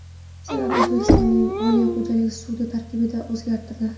Senat O‘zbekiston Oliy xo‘jalik sudi tarkibini o‘zgartirdi.